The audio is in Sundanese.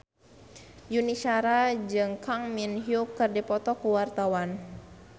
Yuni Shara jeung Kang Min Hyuk keur dipoto ku wartawan